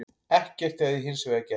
Ekkert hefði hins vegar gerst